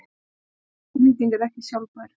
Þessi orkunýting er ekki sjálfbær.